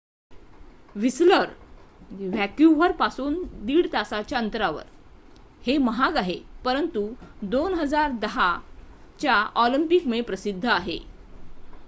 Whistler Vancouver पासून 1.5 तासाच्या अंतरावर हे महाग आहे परंतु 2010ऑलिम्पिक मुळे प्रसिद्ध आहे